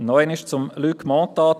Nochmals zu Luc Mentha: